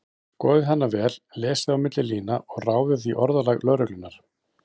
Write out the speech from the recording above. Skoðið hana vel, lesið á milli lína og ráðið í orðalag lögreglunnar.